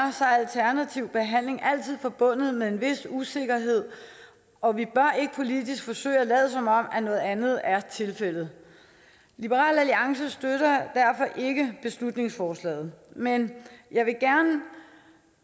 alternativ behandling altid forbundet med en vis usikkerhed og vi bør ikke politisk forsøge at lade som om noget andet er tilfældet liberal alliance støtter derfor ikke beslutningsforslaget men jeg vil gerne